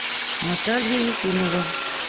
наталья ефимова